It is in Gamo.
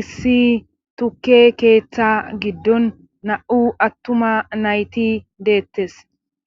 issi tukke keeththa giddon na7u attuma nayti deettes